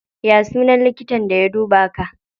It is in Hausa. Ya sunan likitan da ya duba ka?